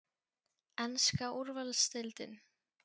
Enska úrvalsdeildin?